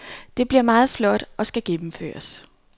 Det bliver meget flot og skal gennemføres.